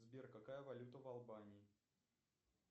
сбер какая валюта в албании